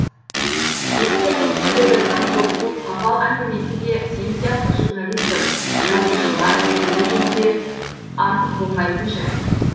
еспер айтып келе жатқан көксу қапал әңгімесі де сен сияқты журналист жазушылар біле жүрсе артық болмайтын жай